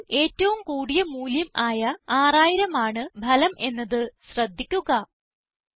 കോളത്തിലെ ഏറ്റവും കൂടിയ മൂല്യമായ 6000 ആണ് ഫലം എന്നത് ശ്രദ്ധിക്കുക